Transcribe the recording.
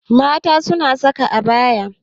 Mata suna yayin saka abaya.